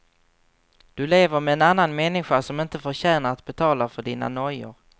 Du lever med en annan människa som inte förtjänar att betala för dina nojor.